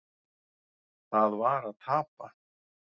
Það var að tapa.